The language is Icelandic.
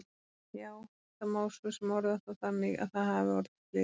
Já, það má svo sem orða það þannig að það hafi orðið slys.